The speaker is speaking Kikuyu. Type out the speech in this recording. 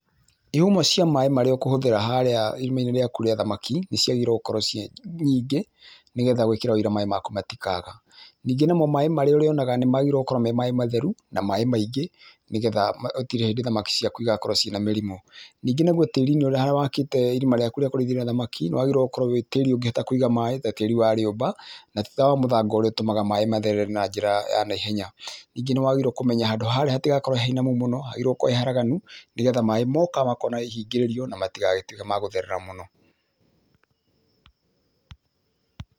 Ihumo cia maĩ marĩa ũkũhũthĩra harĩa irima-ĩnĩ rĩaku rĩa thamaki nĩ ciagĩrĩire gũkorwo ciĩ nyingĩ, nĩ getha gwĩkĩra ũira maĩ maku matikaga. Ningĩ namo maĩ marĩa ũrĩonaga nĩ magĩrĩrwo gũkorwo me maĩ matheru na maĩ maingĩ nĩ getha gũtirĩ hĩndĩ thamaki ciaku igakorwo ciĩna mĩrimũ. Ningĩ naguo tĩri-inĩ harĩa wakĩte irima rĩaku rĩa kũrĩithia thamaki nĩ wagĩrĩire gũkorwo wĩ tĩri ũngĩhota kũiga maĩ ta tĩri wa rĩũmba, na ti ta wa mũthanga ũrĩa ũtũmaga maĩ matherere na njĩra ya na ihenya. Ningĩ nĩwagĩrĩirwo kũmenya handũ harĩa hatigakorwo he hainamu mũno, hagĩrĩirwo gũkorwo he haraganu nĩgetha maĩ moka makona ihingĩrĩrio na matigagĩtuĩke ma gũtherera mũno